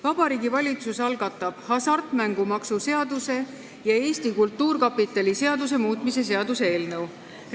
Vabariigi Valitsus algatab hasartmängumaksu seaduse ja Eesti Kultuurkapitali seaduse muutmise seaduse eelnõu.